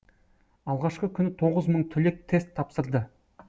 алғашқы күні тоғыз мың түлек тест тапсырды